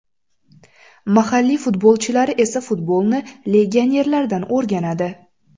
Mahalliy futbolchilari esa futbolni legionerlardan o‘rganadi.